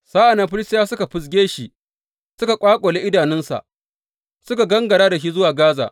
Sa’an nan Filistiyawa suka fizge shi, suka ƙwaƙule idanunsa suka gangara da shi zuwa Gaza.